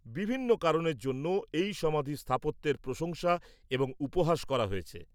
-বিভিন্ন কারণের জন্য এই সমাধির স্থাপত্যের প্রশংসা এবং উপহাস করা হয়েছে।